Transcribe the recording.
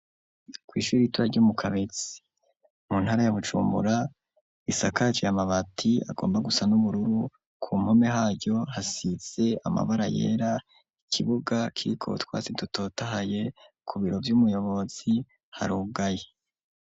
Kw'ishure ritoya ryo mu Kabezi, mu ntara ya Bujumbura, risakaje amabati agomba gusa n'ubururu, ku mpome haryo hasize amabara yera, ikibuga kiriko utwasi dutotahaye, ku biro vy'umuyobozi harugaye.